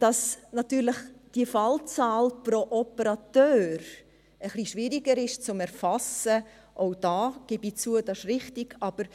Dass die Fallzahl pro Operateur etwas schwieriger zu erfassen ist, auch da gebe ich zu, dass dies richtig ist.